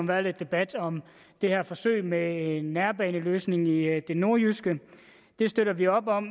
været lidt debat om det her forsøg med en nærbaneløsning i det nordjyske det støtter vi op om